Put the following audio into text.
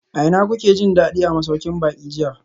A ina kuke jin dadi a masaukin baki jiya?